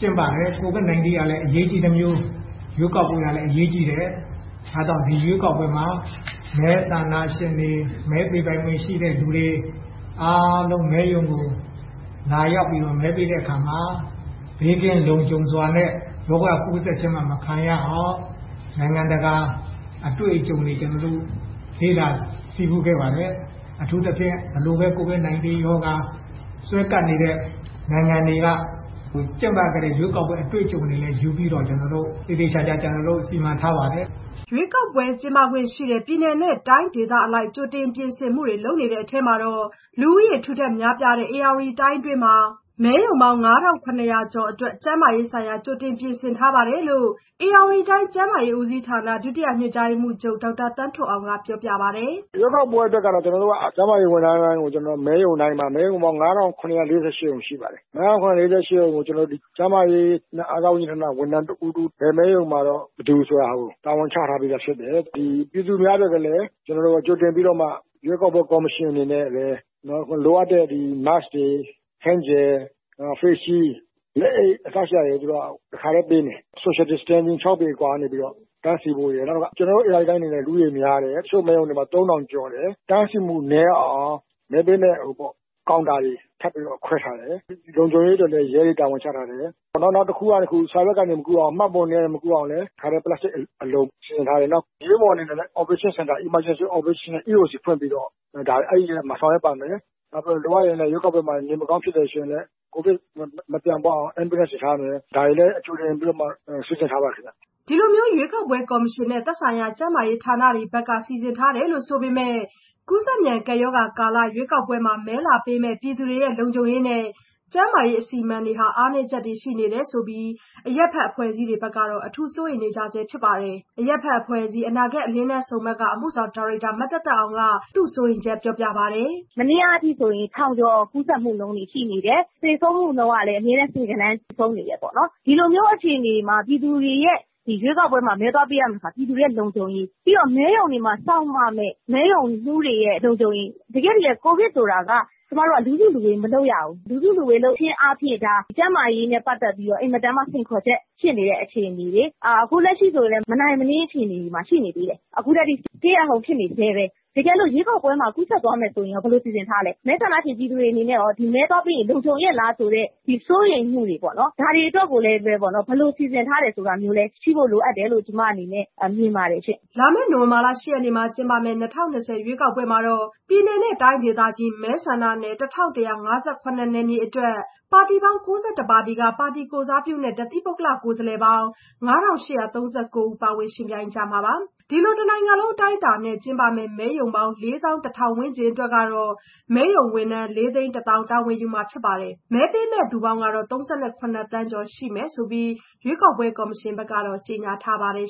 ကျင်းပတယ်။ ကိုဗစ်၁၉ ကလည်း အရေးကြီးသလို ရွေးကောက်ပွဲကလည်း အရေးကြီးတယ်။ ဒါကြောင့် ဒီရွေးကောက်ပွဲမှာ မဲဆန္ဒရှင်တွေ မဲပေးပိုင်ခွင့်ရှိတဲ့သူတွေ အားလုံး မဲရုံကို လာရောက်ပြီးတော့ မဲပေးတဲ့အခါမှာ ဘေးကင်းလုံခြုံစွာနဲ့ ရောဂါကူးစက်ခြင်း မခံရအောင်နိုင်ငံတကာ အတွေ့အကြုံတွေကို ကျနော်တို့ လေ့လာဆည်းပူးခဲ့ပါတယ်။ အထူးသဖြင့် ဘယ်လိုပဲ ကိုဗစ်၁၉ ရောဂါ စွဲကပ်နေတဲ့နိုင်ငံတွေမှာ ကျင်းပခဲ့တဲ့ အတွေ့အကြုံတွေကို ယူပြီးတော့ သေသေချာချာ ကျနော်တို့ စီမံထားပါတယ်။" ရွေးကောက်ပွဲ ကျင်းပခွင့်ရှိတဲ့ ပြည်နယ် တိုင်းဒေသအလိုက် ကြိုတင်ပြင်ဆင်မှုတွေ လုပ်နေတဲ့အထဲ လူဦးရေထူထပ် များပြားတဲ့ ဧရာဝတီတိုင်းတွင်းမှာ မဲရုံပေါင်း ၅,၇၀၀ ကျော်အတွက် ကျန်းမာရေးဆိုင်ရာ ကြိုတင်ပြင်ဆင် ထားပါတယ်လို့ဧရာဝတီတိုင်း ကျန်းမာရေးဦးစီးဌာန ဒုတိယညွှန်ကြားရေးမှူးချုပ် ဒေါက်တာသန်းထွဋ်အောင်က ပြောပြပါတယ်။ "ကျနော်တို့ ရွေးကောက်ပွဲအတွက်ကတော့ ကျန်းမာရေးဝန်ထမ်းတွေတိုင်းကို မဲရုံတိုင်းမှာ- မဲရုံပေါင်း ၅,၇၄၈ ရှိပါတယ်။ ၅,၇၄၈ ရုံမှာ ၁ ရုံကို ကျန်းမာရေးနဲ့ အားကစားဝန်ကြီးဌာနက ဝန်ထမ်း ၁ ဦး၊ ၁ ဦး စီ တာဝန်ချထားတယ်။ စီမံချက်တွေ ဆွဲပြီးတော့ ဘယ်မဲရုံမှာ ဘယ်သူဆိုတာ တာဝန်ချထားပေးတယ်။ ပြည်သူများအတွက် ကလည်း ကြိုတင်ပြီးတော့မှ ရွေးကောက်ပွဲကော်မရှင် အနေနဲ့ လိုအပ်တဲ့ Mask တွေ Hand Gel လက်သန့်စင်ဆေးရည်တွေ Face Shield လက်အိတ် အစရှိတာတွေ တခါတည်းပေးမယ်။ မဲရုံတွေမှာလည်း Social Distancing ၆ပေ အကွာကနေ တန်းစီဖို့ရယ်။ နောက်တခုက ကျနော်တို့ ဧရာဝတီတိုင်းက လူဦးရေအရမ်းများတယ်။ တချို့မဲရုံတွေမှာ ၃,၀၀၀ ကျော်တယ် အဲ့ဒီတော့ တန်းစီမှု နည်းအောင် မဲပေးမယ့်ကောင်တာတွေ ခွဲထားတယ်။ လုံခြုံရေးအတွက်လည်း ရဲတွေ တာဝန်ချထားတယ်။ နောက်တခုက စာရွက်ကနေ မကူးအောင် မှတ်ပုံတင်တွေကနေ မကူးအောင်လည်း တခါတည်း ပလက်စတစ်အလုံ ပိတ်ထားနိုင်ဖို့ လုပ်ထားတယ်။ အားလုံးတော့ ပြည့်စုံအောင်တော့ ကျနော်စီစဉ်ထားပါတယ်။ အရေးပေါ်ဖြစ်လာရင် အရေးပေါ်စင်တာ EOC (Emergency Operations Center) ဖွင့်ပြီးတော့အဲ့ရက်မှာ ဆောင်ရွက်ပါမယ်။ လိုအပ်လို့ ရွေးကောက်ပွဲမှာ နေမကောင်းဖြစ်လာရင်လည်း ကိုဗစ်မပြန့်ပွားရအောင် Ambulance တွေထားမယ် ဒါတွေကိုကြိုတင်ပြီး စီစဉ်ထားပါတယ်ခင်ဗျ။" ဒီလိုမျိုး ရွေးကောက်ပွဲကော်မရှင်နဲ့ သက်ဆိုင်ရာ ကျန်းမာရေးဌာနတွေဘက်က ဒီလိုစီစဉ်ထားတယ်ဆိုပေမဲ့ ကူးစက်မြန် ကပ်ရောဂါကာလ ရွေးကောက်ပွဲ မဲလာပေးမယ့်ပြည်သူတွေ လုံခြုံရေးနဲ့ ကျန်းမာရေး အစီအမံတွေ အားနည်းချက်တွေ ရှိနေတယ်ဆိုပြီး အရပ်ဘက်အဖွဲ့အစည်းတွေဘက်ကတော့ အထူးကိုစိုးရိမ်နေကြဆဲဖြစ်ပါတယ်။ အရပ်ဘက်အဖွဲ့အစည်း အနာဂတ်အလင်းတန်းဆုံမှတ်က အမှုဆောင်ဒါရိုက်တာ မသက်သက်အောင်က သူ့စိုးရိမ်ချက်ပြောပြပါတယ်။ "ကျမတို့ အခုလက်ရှိ မနေ့ကအထိကို ၁,၀၀၀ ကျော် ကူးစက်မှုရှိတယ်။ သေဆုံးမှုကလည်း အမြဲတမ်း ဆယ်ဂဏန်း သေဆုံးနေတယ်ပေါ့နော် ။ ဒီလိုမျိုး အခြေအနေမှာ ပြည်သူတွေက ရွေးကောက်ပွဲမှာ မဲသွားပေးရမယ့်အခါမှာ ပြည်သူတွေရဲ့ လုံခြုံရေး ပြီးတော့ တခါ မဲရုံတွေမှာ စောင့်ရမယ့် မဲရုံမှူးတွေရဲ့ လုံခြုံရေး ။တကယ့်တကယ် ကိုဗစ်ဖြစ်နေချိန်မှာက လူစုလူဝေးက လုပ်ကို မလုပ်ရဘူး။ လူစုလူဝေးလုပ်ခြင်းအားဖြင့် ကျန်းမာရေးအတွက် တကယ့်ကို အန္တရာယ်ရှိတဲ့ စိန်ခေါ်ချက်ဖြစ်နေတဲ့အခြေအနေလေ။ အခုလက်ရှိကလည်း မနိုင်မနင်းအခြေအနေတွေမှာ ရှိနေသေးတယ်။ အခုထက်ထိ Stay At Home ရှိနေဆဲပဲ။ တကယ်လို့ ရွေးကောက်ပွဲမှာ ကူးစက်သွားမယ်ဆိုရင်ရော ဘယ်လိုစီစဉ်ထားလဲ။ ဒီလိုအချိန်မှာ ရွေးကောက်ပွဲကို မဲသွားပေးကြမယ့် ပြည်သူတွေအတွက်လည်း မဲသွားပေးရင် လုံခြုံရဲ့လား ဆိုတဲ့ စိုးရိမ်မှုတွေပေါ့နော်။ ဒါတွေအတွက်ကိုလည်း ဘယ်လိုစီစဉ်ထားလဲဆိုတာ ရှိဖို့လိုအပ်တယ်လို့ ကျမအနေနဲ့ မြင်ပါတယ်ရှင့်။" လာမယ့် နိုဝင်ဘာလ ၈ ရက်နေ့မှာ ကျင်းပမယ့် ၂၀၂၀ ရွေးကောက်ပွဲမှာ ပြည်နယ်တိုင်းဒေသကြီး မဲဆန္ဒနယ် ၁,၁၅၇ နယ်မြေအတွက် ပါတီပေါင်း ၉၁ ပါတီက ပါတီကိုယ်စားပြုနဲ့ တသီးပုဂ္ဂလကိုယ်စားပေါင်း ၅,၈၃၉ ဦး ပါဝင် ယှဉ်ပြိုင်ကြမှာပါ။ ဒီလို တနိုင်ငံလုံး အတိုင်းအတာနဲ့ မဲရုံပေါင်း ၄၁,၀၀၀ ဝန်းကျင်အတွက် မဲရုံဝန်ထမ်းက ၄၁၀,၀၀၀ တာဝန်ယူမှာဖြစ်ပြီး မဲပေးမယ့်သူပေါင်းကတော့ ၃၇ သန်းကျော်ရှိမယ်လို့ ရွေးကောက်ပွဲကော်မရှင်က ကြေညာထားပါတယ်